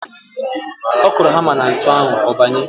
Ọ kụrụ hamá na ntu ahụ, ọ banye.